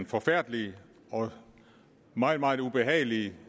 forfærdeligt og meget meget ubehageligt